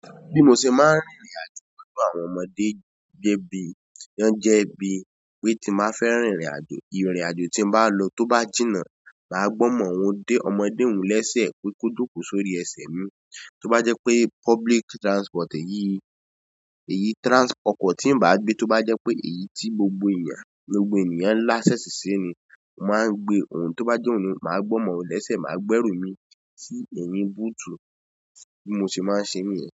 Bí mo ṣe máa ń rìnrìn àjò pẹ̀lú àwọn ọmọdé, gẹ́gẹ́ bí wọ́n jẹ́ ẹbí, pé tí máa fẹ́ rìnrìn àjò, ìrìn àjò tí ń bá lọ tó bá jìnnà, màá gbọ́ mọ́ ohun dé ọmọdé òun léṣe pé kó jókòó sórí ẹsẹ̀ mi. Tó bá jẹ́ pé public transport èyí, èyí transport kọ̀ tí ń bá gbé, tó bá jẹ́ pé èyí tí gbogbo èèyàn, gbogbo èèyàn ń láṣẹ sí i ni, mo máa ń gbé òun, tó bá jẹ́ òun ni, màá gbọ́ mọ́ òun léṣe, màá gbẹ́rù mi sí ẹ̀yìn búùtù bí mo ṣe máa ń ṣe mi ẹ.